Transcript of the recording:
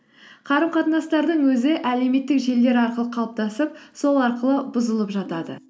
қарым қатынастардың өзі әлеуметтік желілер арқылы қалыптасып сол арқылы бұзылып жатады